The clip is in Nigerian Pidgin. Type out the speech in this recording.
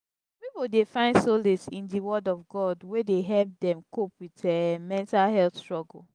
some people dey find solace in di word of god wey dey help dem cope with um mental health struggle.